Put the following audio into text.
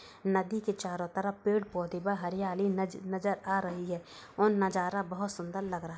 नदी के चारों तरफ पेड़ पौधे व हरियाली नज नजर आ रही है। और नजारा बोहोत सुंदर लग रहा --